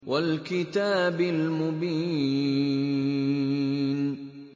وَالْكِتَابِ الْمُبِينِ